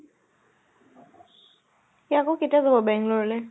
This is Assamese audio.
সি আকৌ কেতিয়া যাব বেঙ্গলৰলে?